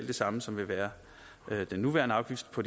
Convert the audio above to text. det samme som vil være den nuværende afgift på